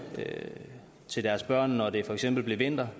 til deres børn når det for eksempel blev vinter